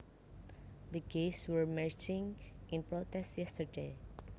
The gays were marching in protest yesterday